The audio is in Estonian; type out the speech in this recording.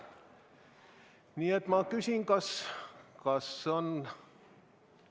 Nii et ma küsin, kas kõik on nõus.